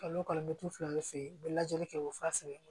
Kalo o kalo mɛ fila ne fɛ yen u bɛ lajɛli kɛ u bɛ fa sɛnɛ